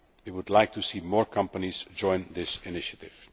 We would like to see more companies join this initiative.